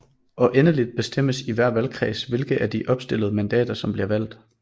Og endeligt bestemmes i hver valgkreds hvilke af de opstillede mandater som bliver valgt